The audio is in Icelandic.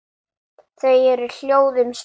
Þau eru hljóð um stund.